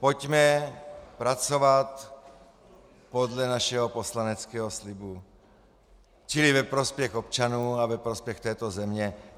Pojďme pracovat podle našeho poslaneckého slibu, čili ve prospěch občanů a ve prospěch této země.